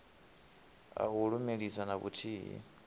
a u lumelisa na vhuthihi